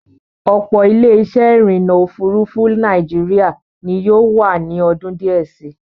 Ọ̀pọ̀ Ilé-isẹ́ ìrìnnà òfurufú Nàìjíríà ni yóò wà ní ọdún díẹ̀ sí.